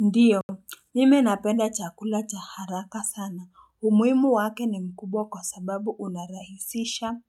Ndiyo mimi napenda chakula cha haraka sana umuimu wake ni mkubwa kwa sababu unarahisisha